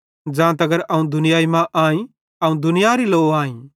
ज़ां तगर अवं दुनियाई मां आई अवं दुनियारी लो आई